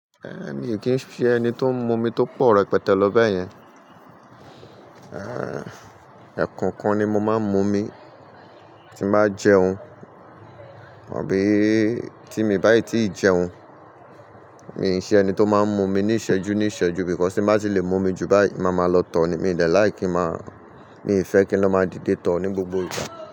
Ẹ mi kì í ṣe ẹni tó ń mu omi tó pọ̀ rẹpẹtẹ lọ bẹ́ẹ̀ yẹn. Ẹ̀kọọkan ni mo máa ń mu omi tí n bá jẹun àbí tí mi báyìí tí ì jẹun. Mi i ṣe ẹni tó máa ń mu omi ní ìṣẹ́jú ní ìṣẹ́jú, because tí n bá ti lè mu omi jù báyìí, màá ma lọ tọ̀ ni. Mi i dẹ like kí màá, mi i fẹ́ kí lọ máa dìde tọ̀ ní gbogbo ìgbà.